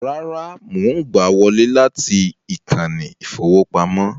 Rárá, mò ń gbà á wọlé láti ìkànnì ìfowópamọ́